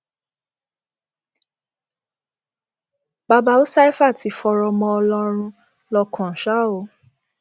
baba usaifa ti fọrọ mọ ọlọrun lọkàn ṣá o